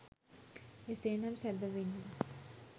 එසේ නම් සැබවින්ම